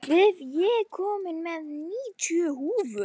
Víf, ég kom með níutíu húfur!